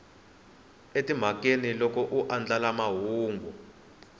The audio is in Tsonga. emhakeni loko a andlala mahungu